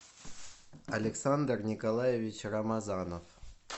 александр николаевич рамазанов